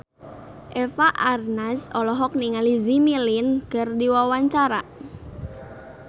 Eva Arnaz olohok ningali Jimmy Lin keur diwawancara